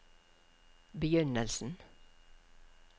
begynnelsen